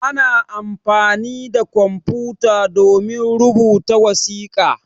Ana amfani da kwamfuta domin rubuta wasiƙa.